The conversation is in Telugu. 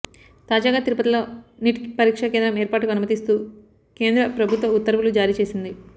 తాజాగా తిరుపతిలో నీట్ పరీక్షాకేంద్రం ఏర్పాటుకు అనుమతిస్తూ కేంద్ర ప్రభుత్వ ఉత్వర్వులు జారీ చేసింది